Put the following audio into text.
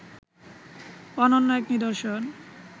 অনন্য এক নিদর্শন